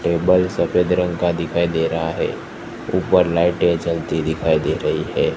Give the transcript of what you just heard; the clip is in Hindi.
टेबल सफेद रंग का दिखाई दे रहा है ऊपर लाइटें जलती दिखाई दे रही है।